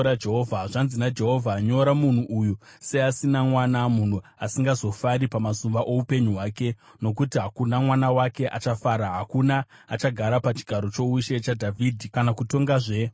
Zvanzi naJehovha: “Nyora munhu uyu seasina mwana, munhu asingazobudiriri pamazuva oupenyu hwake, nokuti hakuna mwana wake achapfuma, hakuna achagara pachigaro choushe chaDhavhidhi, kana kutongazve munyika yeJudha.”